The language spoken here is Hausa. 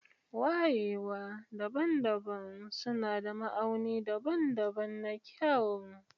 Wayewa daban-daban suna da ma'auni daban-daban na kyau.